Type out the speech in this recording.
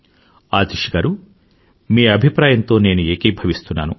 ఆతిష్ గారూ మీ అభిప్రాయంతో నేను ఏకీభవిస్తున్నాను